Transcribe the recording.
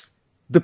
Friends,